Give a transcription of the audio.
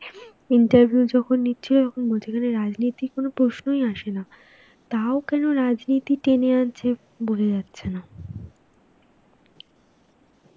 interview যখন নিচ্ছিল তখন বলছিল, এখানে রাজনীতির কোনোই আসেনা. তাও কেনো রাজনীতি টেনে আনছে বোঝা যাচ্ছেনা.